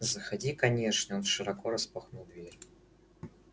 заходи конечно и он широко распахнул дверь